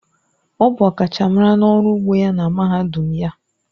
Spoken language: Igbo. Ọ bụ ọkachamara n'ọrụ ugbo ya na mahadum ya.